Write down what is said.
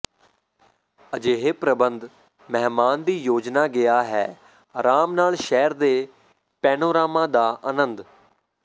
ਅਜਿਹੇ ਪ੍ਰਬੰਧ ਮਹਿਮਾਨ ਦੀ ਯੋਜਨਾ ਗਿਆ ਹੈ ਆਰਾਮ ਨਾਲ ਸ਼ਹਿਰ ਦੇ ਪੈਨੋਰਾਮਾ ਦਾ ਆਨੰਦ